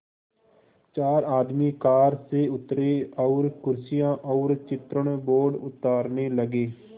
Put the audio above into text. चार आदमी कार से उतरे और कुर्सियाँ और चित्रण बोर्ड उतारने लगे